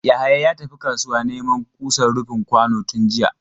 Yahaya ya tafi kasuwa neman kusan rufin kwano tun jiya.